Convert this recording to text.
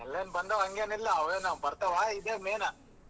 ಎಲ್ಲ ಏನ ಬಂದವ ಹಂಗೆನಿಲ್ಲ ಅವೇನ ಬರ್ತಾವ ಇದೆ main ಆ.